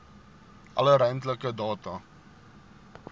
alle ruimtelike data